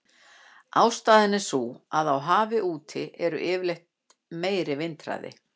Ástæðan er sú að á hafi úti er yfirleitt meiri vindhraði.